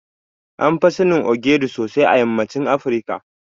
Anfi sanin Ogiri sosai a yammacin Afirika.